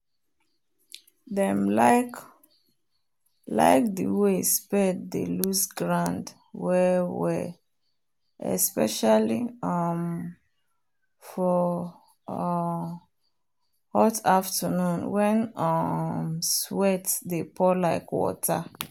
“dem like like the way spade dey loose ground well-well especially um for um hot afternoon when um sweat dey pour like water.”